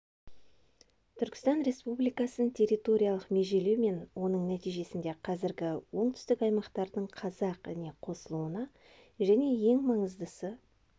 түркістан республикасын территориялық межелеу мен оның нәтижесінде қазіргі оңтүстік аймақтардың қазақ іне қосылуына және ең маңыздысы